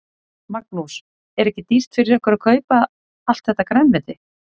Magnús: Er ekki dýrt fyrir ykkur að kaupa allt þetta grænmeti?